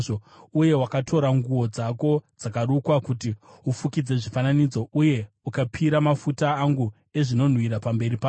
Uye wakatora nguo dzako dzakarukwa kuti ufukidze zvifananidzo, uye ukapira mafuta angu ezvinonhuhwira pamberi pazvo.